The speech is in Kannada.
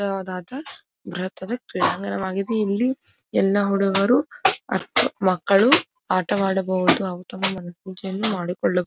ದೊಡ್ಡದಾದ ಬೃಹುತಾದ ಕ್ರೀಡಾಗಣವಾಗಿದೆ ಇಲ್ಲಿ ಎಲ್ಲಾ ಹುಡುಗರು ಮಕ್ಕಳು ಆಟವಾಡಬಹುದು ಹಾಗು ತಮ್ಮ ಮನ ಪೂಜೆಯನ್ನು ಮಾಡಿಕೊಳ್ಳಬಹುದು.